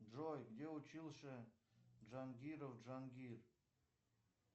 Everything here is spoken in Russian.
джой где учился джангиров джангир